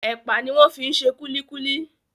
Epa ní wón fí ṣe kulikuli